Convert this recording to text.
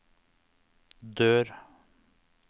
dør